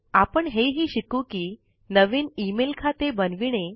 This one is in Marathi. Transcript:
आपण हे हि शिकू कि नवीन ईमेल खाते बनविणे